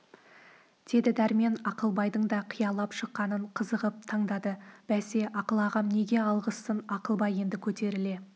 деді дәрмен ақылбайдың да қиялап шыққанын қызығып тыңдады бәсе ақыл ағам неге алғызсын ақылбай енді көтеріле